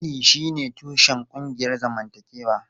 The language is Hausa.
Iyali shine tushen ƙungiyar zamantakewa.